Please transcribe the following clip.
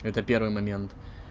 это первый момент